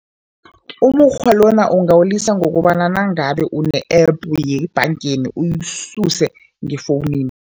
Umukghwa lona ungawulisa ngokobana nangabe une-App yebhangeni uyisuse ngefowunini.